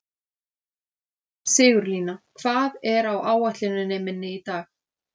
Sigurlína, hvað er á áætluninni minni í dag?